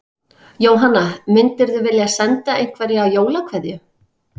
Jóhanna: Myndirðu vilja senda einhverja jólakveðju?